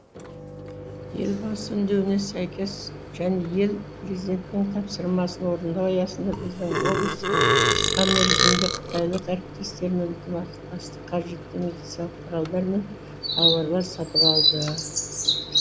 елбасы үндеуіне сәйкес және ел президентінің тапсырмасын орындау аясында біздің облыс қысқа мерзімде қытайлық әріптестермен ынтымақтастықта қажетті медициналық құралдар мен тауарлар сатып алды